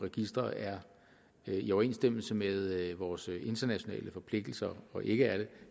registre er i overensstemmelse med vores internationale forpligtelser eller ikke er det